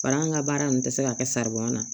Parisa an ka baara nin tɛ se ka kɛ saribuya la